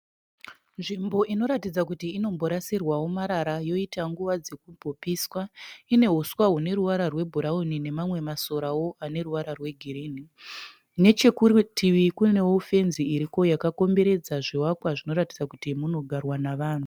Nzvimbo inoratidza kuti inomborasirwawo marara yoita nguva dzekumbopiswa ine uswa hune ruvara rwebhurauni nemamwe masoravo ane ruvara rwegirini nechikurutivi kune fenzi iripo yakakomboredza zvivakwa zvinoratidza kuti munogarwa nevanhu.